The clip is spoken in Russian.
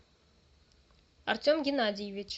артем геннадьевич